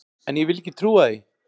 En ég vil ekki trúa því!